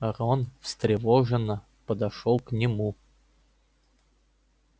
рон встревоженно подошёл к нему